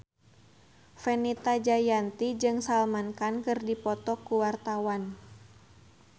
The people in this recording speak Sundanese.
Fenita Jayanti jeung Salman Khan keur dipoto ku wartawan